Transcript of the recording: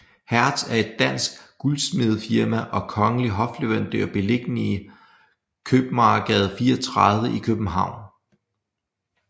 Hertz er et dansk guldsmedefirma og kongelig hofleverandør beliggende Købmagergade 34 i København